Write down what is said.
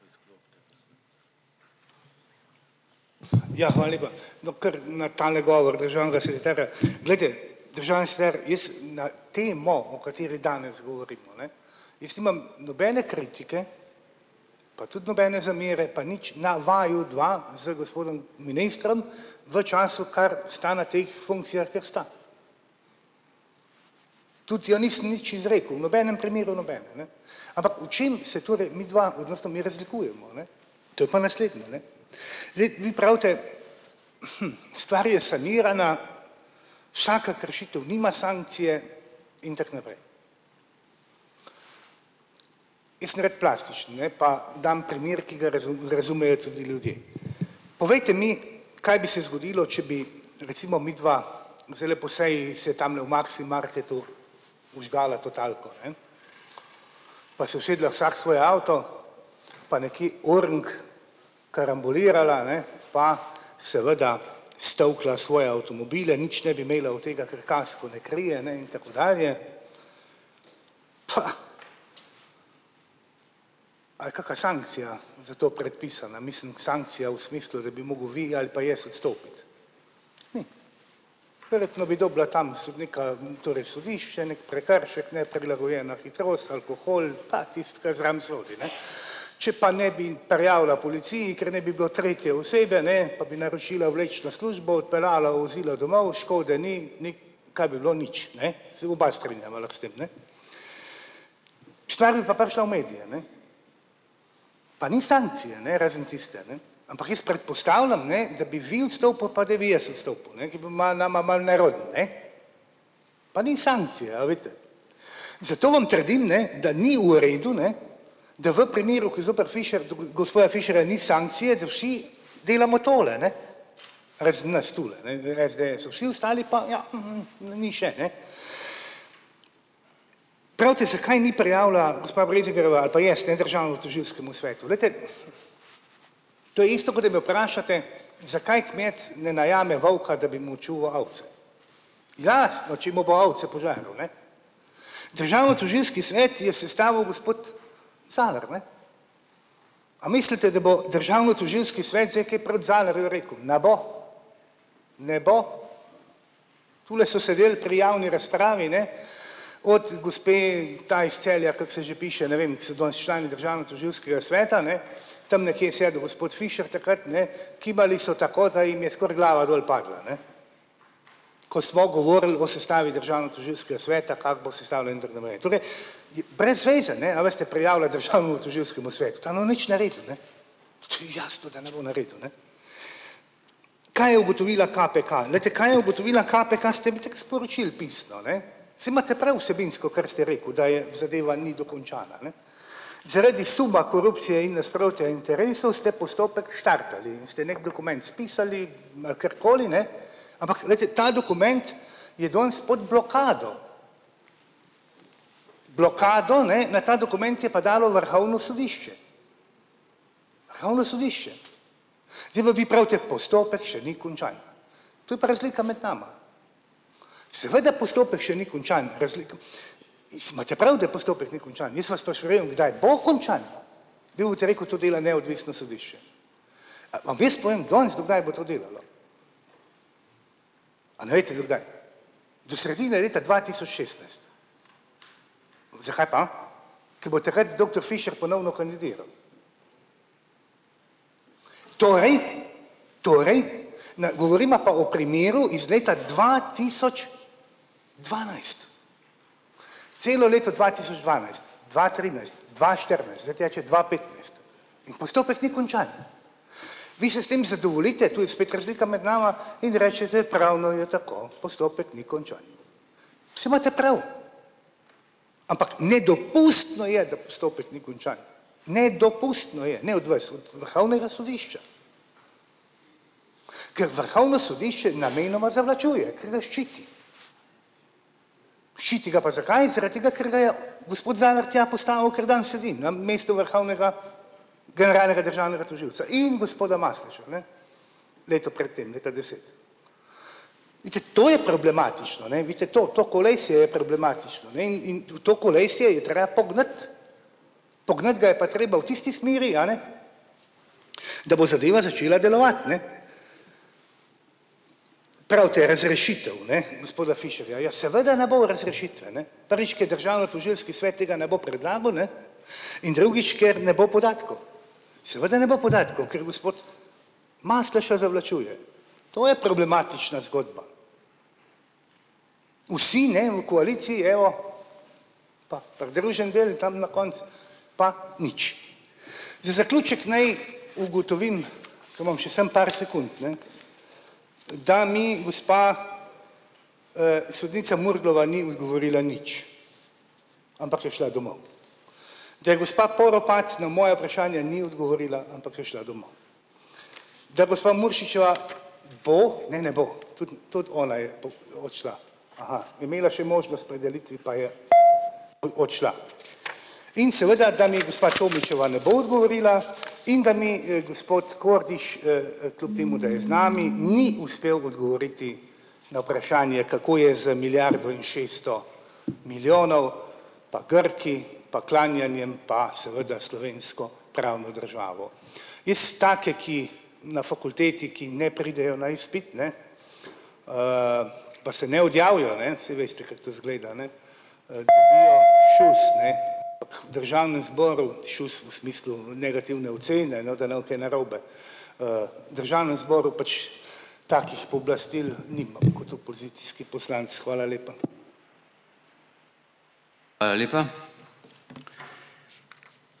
Ja, hvala lepa. No, kar na tale govor državnega sekretarja, glejte, državni sekretar, jaz na temo, o kateri danes govorimo, ne, jaz nimam nobene kritike, pa tudi nobene zamere pa nič na vaju dva z gospodom ministrom, v času, kar sta na teh funkcijah, kjer sta, tudi ja nisem nič izrekel v nobenem primeru nobene, ne, ampak v čem se torej midva odnosno mi razlikujemo, ne, to je pa naslednje, ne, zdaj, vi pravite: "Stvar je sanirana, vsaka kršitev nima sankcije in tako naprej." Jaz sem rad plastičen, ne, pa dam primer, ki ga razumejo tudi ljudje, povejte mi, kaj bi se zgodilo, če bi recimo midva zdajle po seji se tamle v Maximarketu vžgala totalko, ne, pa se usedla vsak v svoj avto pa nekaj oreng karambolirala, a ne, pa seveda stolkla svoje avtomobile. Nič ne bi imela od tega, ker kasko ne krije, ne, in tako dalje, pa a je kaka sankcija za to predpisana, mislim, sankcija v smislu, da bi mogel vi ali pa jaz odstopiti. Verjetno bi dobila tam sodnika, torej sodišče neki prekršek, neprilagojena hitrost, alkohol pa tisto kar zraven sodi, ne, če pa ne bi prijavila policiji, ker ne bi bilo tretje osebe, ne, pa bi naročila vlečno službo, odpeljala vozilo domov, škode ni ni, kaj bi bilo nič, ne, se oba strinjava lahko s tem, ne, stvar bi pa prišla v medije, ne, pa ni sankcije, ne, razen tiste, ne, ampak jaz predpostavljam, ne, da bi vi odstopil pa da bi jaz odstopil, ne, ki bo nama malo nerodno, ne, pa ni sankcije, a vidite. Zato vam trdim, ne, da ni v redu, ne, da v primeru, ki zoper Fišer gospoda Fišerja ni sankcije, da vsi delamo tole, a ne, razen nas tule ne v SDS-u vsi ostali pa ja, na ni še, ne, pravite: "Zakaj ni prijavila gospa Breznikarjeva ali pa jaz, ne, državnemu tožilskemu svetu?" Glejte, to je isto, kot da me vprašate, zakaj kmet ne najame volka, da bi mu čuval ovce, jasno, če mu bo ovce požrl, ne. Državnotožilski svet je sestavil gospod Zalar, ne, a mislite, da bo državnotožilski svet zdaj kaj proti Zalarju rekel? Ne bo, ne bo, tule so sedeli pri javni razpravi, ne, od gospe, ta iz Celja, kako se že piše, ne vem, so danes člani državnotožilskega sveta, ne, tam nekje je sedel gospod Fišer takrat, ne, kimali so tako, da jim je skoraj glava dol padla, ne, ko smo govorili o sestavi državnotožilskega sveta, kako bo sestavljen, je brez veze, ne, a veste, prijavljati državnemu tožilskemu svetu, tam ne bojo nič naredili, ne, to je jasno, da ne bo naredil, ne. Kaj je ugotovila KPK? Glejte, kaj je ugotovila KPK, ste mi itak sporočili pisno, ne, saj imate prav vsebinsko, kar ste rekel, da je zadeva ni dokončana, ne, zaradi suma korupcije in nasprotja interesov ste postopek štartali in ste neki dokument spisali, ma kakorkoli, ne, ampak glejte, ta dokument je danes pod blokado, blokado, ne, na ta dokument je pa dalo vrhovno sodišče. Vrhovno sodišče, zdaj pa vi pravite: "Postopek še ni končan." Zo je pa razlika med nama, seveda postopek še ni končan iz imate prav, da postopek ni končan, jaz vas pa še vem, kdaj bo končan, vi boste rekel: "To dela neodvisno sodišče." A vam jaz povem danes, do kdaj bo to delalo, a ne veste do kdaj. Do sredine leta dva tisoč šestnajst. Zakaj pa? Ko bo takrat doktor Fišer ponovno kandidiral, torej torej ne govorimo pa o primeru iz leta dva tisoč, dvanajst, celo leto dva tisoč dvanajst, dva trinajst, dva štirinajst, zdaj teče dva petnajst, in postopek ni končan. Vi se s tem zadovoljite, to je spet razlika med nama, in rečete: "Pravno je tako, postopek ni končan." Saj imate prav, ampak nedopustno je, da postopek ni končan, nedopustno je, ne, od vas, od vrhovnega sodišča, ker vrhovno sodišče namenoma zavlačuje, ker ga ščiti. Ščiti ga pa zakaj? Zaradi tega, ker ga je gospod Zalar tja postavil, kjer danes sedi na mestu vrhovnega generalnega državnega tožilca in gospoda Maslešo, ne, leto pred tem, leta deset. Vidite, to je problematično, ne, vidite, to to kolesje problematično, ne, in to kolesje je treba pognati, pognati ga je pa treba v tisti smeri, a ne, da bo zadeva začela delovati, ne. Pravite, razrešitev, ne, gospoda Fišerja. Ja, seveda ne bo razrešitve, ne, prvič, ke je državnotožilski svet, tega tega ne bo predlagal, ne, in drugič, ker ne bo podatkov, seveda ne bo podatkov, ker gospod Masleša zavlačuje. To je problematična zgodba, vsi, ne, v koaliciji, evo, pa pridruženi del tam na koncu, pa nič. Za zaključek naj ugotovim, ker imam še samo par sekund, ne, da mi gospa, sodnica Murglova ni odgovorila nič, ampak je šla domov, da je gospa Poropat na moje ni odgovorila, ampak je šla domov, da gospa Muršičeva bo, ne, ne bo, tudi tudi ona je odšla, aha, imela še možnost pri delitvi, pa je odšla. In seveda, da mi gospa Tomićeva ne bo odgovorila in da mi, gospod Kordiš, kljub temu, da je z nami, ni uspel odgovoriti na vprašanje, kako je z milijardo in šeststo milijonov, pa Grki pa klanjanjem pa seveda slovensko pravno državo. Jaz take, ki na fakulteti, ki ne pridejo na izpit, ne, pa se ne odjavijo, ne, saj veste, kako to izgleda, ne, državnem zboru šus v smislu negativne ocene, no, da ne bo kaj narobe, državnem zboru pač takih pooblastil nimam kot opozicijski poslanec. Hvala lepa.